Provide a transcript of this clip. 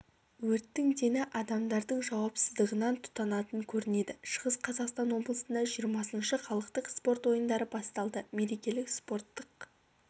өрттің дені адамдардың жауапсыздығынан тұтанатын көрінеді шығыс қазақстан облысында жиырмасыншы халықтық спорт ойындары басталды мерекелік спорттық